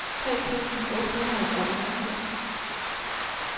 tre tusind otte hundrede og enogfirs